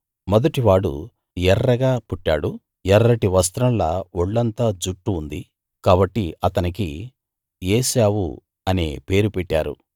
మొదటివాడు ఎర్రగా పుట్టాడు ఎర్రటి వస్త్రంలా ఒళ్ళంతా జుట్టు ఉంది కాబట్టి అతనికి ఏశావు అనే పేరు పెట్టారు